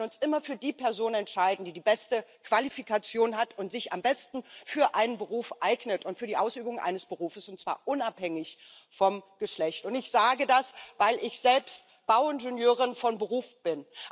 Wir sollten uns immer für die Person entscheiden, die die beste Qualifikation hat und sich am besten für einen Beruf eignet und für die Ausübung eines Berufes, und zwar unabhängig vom Geschlecht und ich sage das, weil ich selbst Bauingenieurin von Beruf bin.